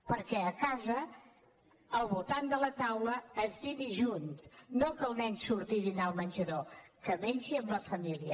perquè a casa al voltant de la taula es dini junt no que el nen surti a dinar al menjador que mengi amb la família